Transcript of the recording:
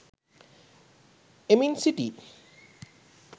එමින් සිටියි.